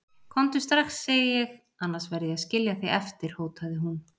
Komdu strax, segi ég, annars verð ég að skilja þig eftir hótaði hún.